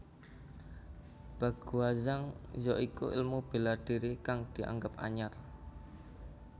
Baguazhang ya iku ilmu bela diri kang dianggep anyar